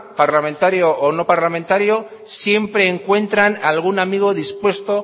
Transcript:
parlamentario o no parlamentario siempre encuentran algún amigo dispuesto